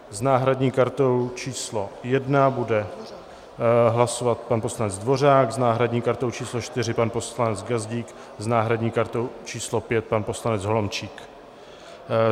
S náhradní kartou číslo 1 bude hlasovat pan poslanec Dvořák, s náhradní kartou číslo 4 pan poslanec Gazdík, s náhradní kartou číslo 5 pan poslanec Holomčík.